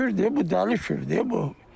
Kürdü bu dəli kürdü bu.